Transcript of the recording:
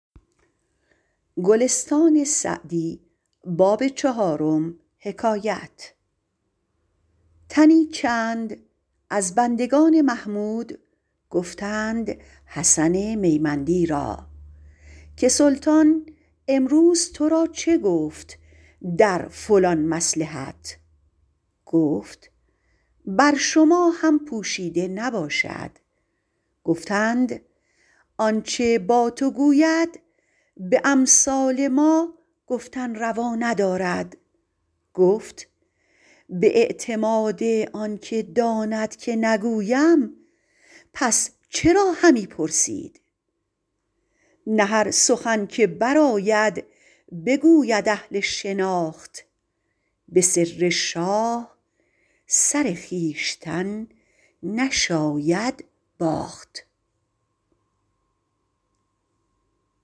تنی چند از بندگان محمود گفتند حسن میمندی را که سلطان امروز تو را چه گفت در فلان مصلحت گفت بر شما هم پوشیده نباشد گفتند آنچه با تو گوید به امثال ما گفتن روا ندارد گفت به اعتماد آن که داند که نگویم پس چرا همی پرسید نه هر سخن که برآید بگوید اهل شناخت به سر شاه سر خویشتن نشاید باخت